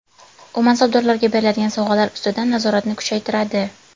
U mansabdorlarga beriladigan sovg‘alar ustidan nazoratni kuchaytiradi.